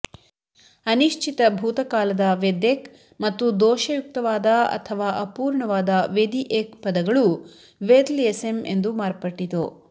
ಅನಿಶ್ಚಿತ ಭೂತಕಾಲದ ವೆದ್ ಎಕ್ ಮತ್ತು ದೋಷಯುಕ್ತವಾದ ಅಥವಾ ಅಪೂರ್ಣವಾದ ವೆದಿಎಕ್ ಪದಗಳೂ ವೆದ್ಲ್ ಯೆಸೆಮ್ ಎಂದು ಮಾರ್ಪಟ್ಟಿತು